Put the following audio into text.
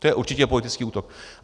To je určitě politický útok.